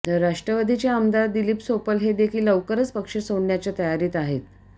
तर राष्ट्रवादीचे आमदार दिलीप सोपल हे देखील लवकरच पक्ष सोडण्याच्या तयारीत आहेत